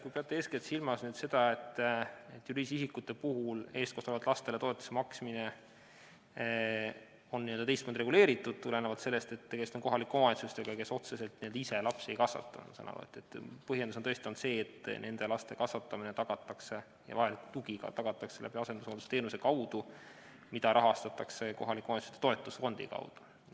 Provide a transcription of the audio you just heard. Kui te peate eeskätt silmas nüüd seda, et juriidiliste isikute puhul eestkostetavatele lastele toetuse maksmine on teistmoodi reguleeritud, tulenevalt sellest, et tegemist on kohalike omavalitsustega, kes otseselt ise lapsi ei kasvata, siis ma saan aru, et põhjendus on tõesti olnud see, et nende laste kasvatamine tagatakse ja ka vajalik tugi tagatakse asendushooldusteenuse kaudu, mida rahastatakse kohalike omavalitsuste toetusfondist.